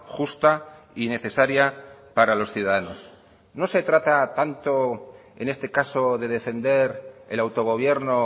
justa y necesaria para los ciudadanos no se trata tanto en este caso de defender el autogobierno